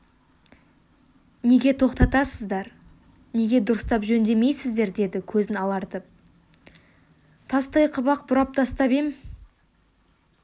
неге тоқтатасыздар неге дұрыстап жөндемейсіздер деді көзін алартып тастай қып-ақ бұрап тастап ем